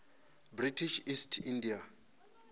british east india